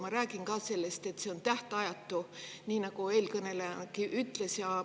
Ma räägin ka sellest, et see on tähtajatu, nii nagu eelkõnelejagi ütles.